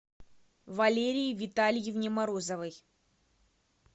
валерии витальевне морозовой